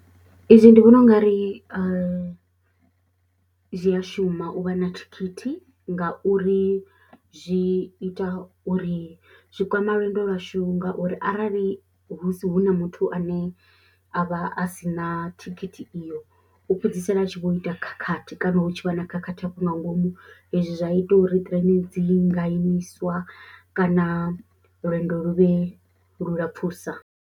Izwi ndi vhona u nga ri a zwi a shuma u vha na thikhithi ngauri zwi ita uri zwi kwama lwendo lwashu ngauri arali musi hu na muthu ane a vha a si na thikhithi iyo u fhedzisela a tshi vho ita khakhathi kana hu tshi vha na khakhathi afho nga ngomu hezwi zwa ita uri train dzi ḽi nga imiswa kana lwendo lu vhe lu lapfhusa.